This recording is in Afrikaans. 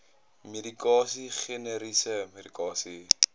medikasie generiese medikasie